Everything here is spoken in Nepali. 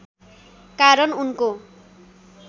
कारण उनको